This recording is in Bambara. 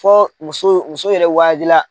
Fɔ muso muso yɛrɛ la.